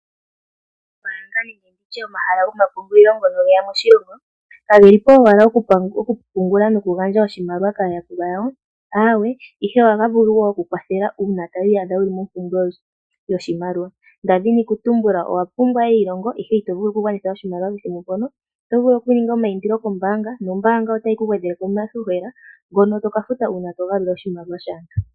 Oombanga nenge ndi tye omahala gomapungulilo ngono ge ya moshilongo, kage li po owala okupungula nokugandja omayakulo kaayakulwa yawo. Aawe, ohaga vulu wo oku ku kwathela uuna to iyadha wu li mompumbwe yoshimaliwa. Nda dhina okutumbula owa pumbwa eilongo, ihe ito vulu okugwanitha oshimaliwa pethimbo mpono, oto vulu okuninga omaindilo kombaanga nombaanga otayi ku gwedhele po iihohela mbyono to ka futa uuna to gandja oshimaliwa shaantu.